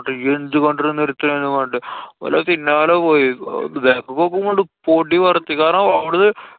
ഇയ്യെന്തു കണ്ടിട്ടാ നിര്‍ത്ത്യെന്നൊക്കെ പറഞ്ഞിട്ട്. ഓലെ പിന്നാലെ പോയി. back ക്ക് നോക്കുമ്പോ ഇങ്ങട് പൊടി പറത്തി. കാരണം അവ്ടുന്നു.